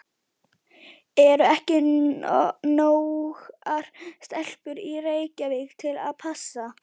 Eru ekki nógar stelpur í Reykjavík til að passa?